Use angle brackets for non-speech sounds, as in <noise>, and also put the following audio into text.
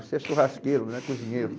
<laughs> Você é churrasqueiro, não é cozinheiro.